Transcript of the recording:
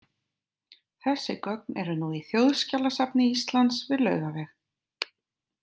Þessi gögn eru nú í Þjóðskjalasafni Íslands við Laugaveg.